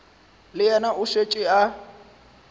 le yena o šetše a